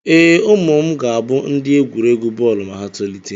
Ee, ụmụ m ga-abụ ndị egwuregwu bọọlụ ma ha tolite.